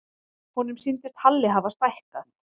Honum sýndist Halli hafa stækkað.